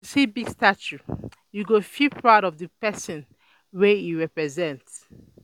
Wen you see big statue, you um go feel proud of the person wey e represent.